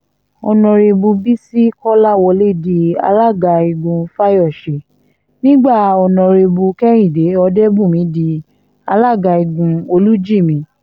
ọ̀nàrẹ́bù bisi kọ́láwọ́lẹ̀ di alága igun fáyọsè nígbà ọ̀nàrẹ́bù kehìndé ọ̀dẹ́bùnmi di alága igun olújímì